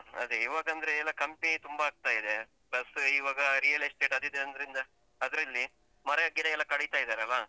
ಅದೆ ಇವಗಂದ್ರೆ ಎಲ್ಲ company ತುಂಬ ಆಗ್ತಾ ಇದೆ plus ಇವಾಗ real-estate ಅದು ಇದು ಅಂದ್ರಿಂದಾ ಅದ್ರಲ್ಲಿ ಮರ ಗಿಡ ಎಲ್ಲ ಕಡಿತ ಇದರಲ್ಲ.